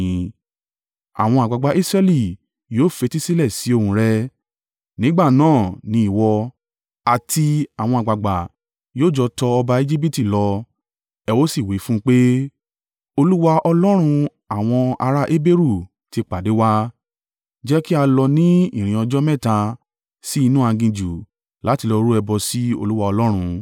“Àwọn àgbàgbà Israẹli yóò fetísílẹ̀ sí ohùn rẹ. Nígbà náà ni ìwọ, àti àwọn àgbàgbà yóò jọ tọ ọba Ejibiti lọ, ẹ ó sì wí fún un pé, ‘Olúwa, Ọlọ́run àwọn ará Heberu ti pàdé wa. Jẹ́ kí a lọ ni ìrìn ọjọ́ mẹ́ta sí inú aginjù láti lọ rú ẹbọ sí Olúwa Ọlọ́run.’